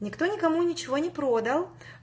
никто никому ничего не продал